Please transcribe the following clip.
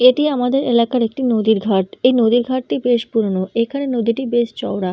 এটি আমাদের এলাকার একটি নদীর ঘাট। এই নদীর ঘাট টি বেশ পুরানো। এখানে নদীটি বেশ চওড়া।